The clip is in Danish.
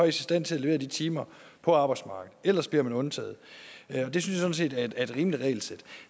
i stand til at levere de timer på arbejdsmarkedet ellers bliver man undtaget og det synes jeg sådan set er et rimeligt regelsæt